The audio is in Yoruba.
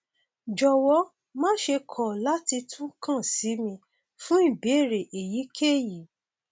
jọwọ máṣe kọ láti tún kàn sí mi fún ìbéèrè èyíkéyìí